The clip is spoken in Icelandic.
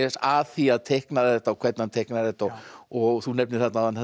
að því að teikna þetta og hvernig hann teiknar þetta og þú nefnir þarna áðan þetta